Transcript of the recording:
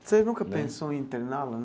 Vocês nunca pensou em interná-la?